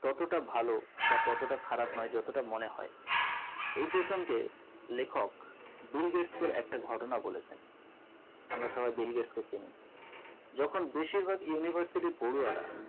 ততোটা ভালো বা ততোটা খারাপ নয় যতটা মনে হয় এই প্রসঙ্গে লেখক বিল গেটস এর একটা ঘটনা বলেছেন আমরা সবাই বিল গেটস কে চিনি যেকোন বেশিরভাগ university পড়ুয়ারা